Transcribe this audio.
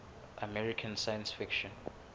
american science fiction